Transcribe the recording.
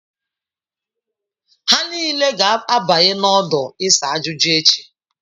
Ha niile ga-abanye n'ọdụ isa ajuju echi.